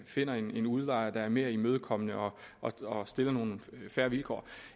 finder en udlejer der er mere imødekommende og har nogle mere fair vilkår